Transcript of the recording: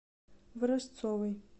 ворожцовой